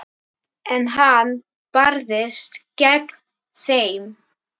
En hann barðist gegn þeim.